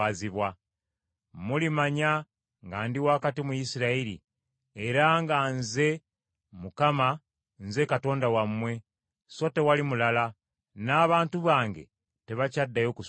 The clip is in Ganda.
Mulimanya nga ndi wakati mu Isirayiri, era nga Nze, Mukama , Nze Katonda wammwe, so tewali mulala; n’abantu bange tebakyaddayo kuswazibwa.